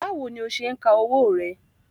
Báwo ni o ṣe ń ka owó rẹ?